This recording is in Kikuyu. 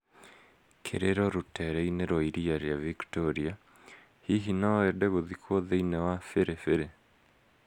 Kĩrĩro rũteere-inĩ rwa iria rĩa Victoria, hihi no wende gũthikwo thĩinĩ wa biribiri?